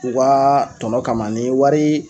u kaa tɔnɔ kama nin wari